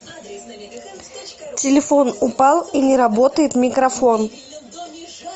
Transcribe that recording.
телефон упал и не работает микрофон